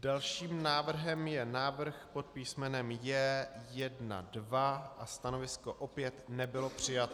Dalším návrhem je návrh pod písmenem J1.2 a stanovisko opět nebylo přijato.